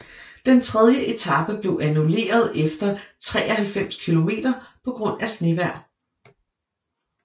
Den tredje etape blev annulleret efter 93 kilometer på grund af snevejr